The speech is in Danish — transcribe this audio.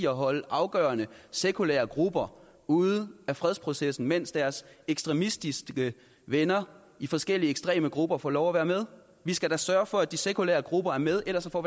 at holde afgørende sekulære grupper ude af fredsprocessen mens deres ekstremistiske venner i forskellige ekstreme grupper får lov at være med vi skal da sørge for at de sekulære grupper er med ellers får